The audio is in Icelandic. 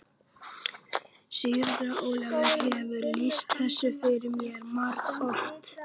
Síra Ólafur hefur lýst þessu fyrir mér margoft.